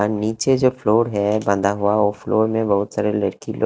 अह नीचे जो फ्लोर है बंधा हुआ वो फ्लोर में बहुत सारे लड़की लोग--